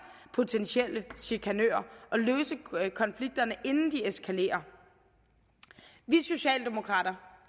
potentielle chikanører og løse konflikterne inden de eskalerer vi socialdemokrater